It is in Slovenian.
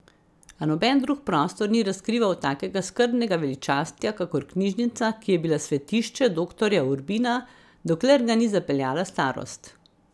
A noben drug prostor ni razkrival takega skrbnega veličastja kakor knjižnica, ki je bila svetišče doktorja Urbina, dokler ga ni zapeljala starost.